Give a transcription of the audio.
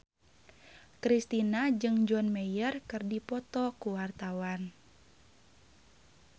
Kristina jeung John Mayer keur dipoto ku wartawan